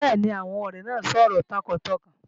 Bẹ́ẹ̀ni, àwọn ọrẹ́ naay sọ̀rọ̀ tọkàntọkàn